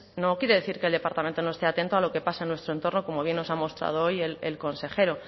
no quiere decir que el departamento no esté atento a lo que pasa en nuestro entorno como bien nos ha mostrado hoy el consejero